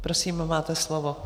Prosím, máte slovo.